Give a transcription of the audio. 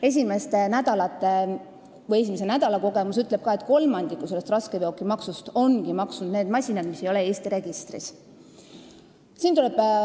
Esimese nädala kogemus ütleb, et kolmandiku raskeveokimaksust ongi maksnud need masinad, mis ei ole Eesti registris.